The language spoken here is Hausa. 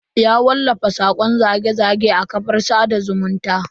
Ya wallafa sakon zage-zage a kafar sada zumunta.